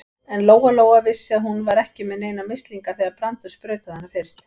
En Lóa-Lóa vissi að hún var ekki með neina mislinga þegar Brandur sprautaði hana fyrst.